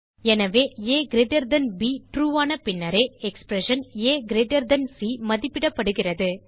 எனவே அப் ட்ரூ ஆன பின்னரே எக்ஸ்பிரஷன் ஏசி மதிப்பிடப்படுகிறது